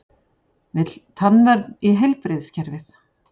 Vill tannvernd í heilbrigðiskerfið